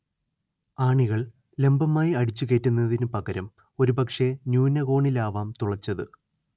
ആണികൾ ലംബമായി അടിച്ചുകയറ്റുന്നതിനു പകരം ഒരുപക്ഷേ ന്യൂനകോണിലാവാം തുളച്ചത്